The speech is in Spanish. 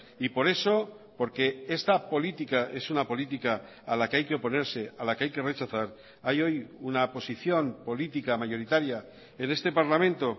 y por eso porque esta política es una política a la que hay que oponerse a la que hay que rechazar hay hoy una posición política mayoritaria en este parlamento